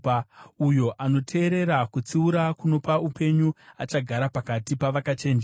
Uyo anoteerera kutsiura kunopa upenyu achagara pakati pavakachenjera.